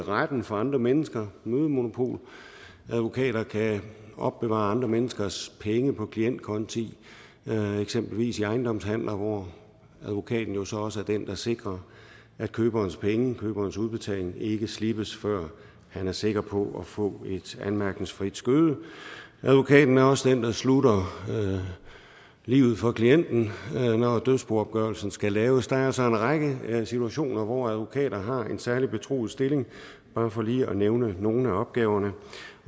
i retten for andre mennesker har mødemonopol og advokater kan opbevare andre menneskers penge på klientkonti eksempelvis i ejendomshandler hvor advokaten jo så også er den der sikrer at køberens penge køberens udbetaling ikke slippes før han er sikker på at få et anmærkningsfrit skøde advokaten er også den der slutter livet for klienten når dødsboopgørelsen skal laves der er altså en række situationer hvor advokater har en særlig betroet stilling bare for lige at nævne nogle af opgaverne